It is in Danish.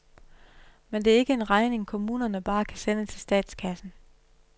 Men det er ikke en regning, kommunerne bare kan sende til statskassen.